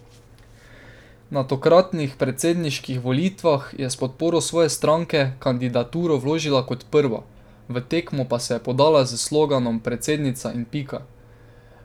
Na tokratnih predsedniških volitvah je s podporo svoje stranke kandidaturo vložila kot prva, v tekmo pa se je podala s sloganom Predsednica in pika.